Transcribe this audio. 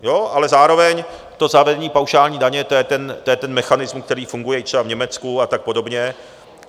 Ale zároveň to zavedení paušální daně, to je ten mechanismus, který funguje i třeba v Německu a tak podobně.